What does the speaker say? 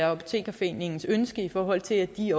apotekerforeningens ønske i forhold til at de